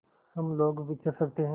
हम लोग विचर सकते हैं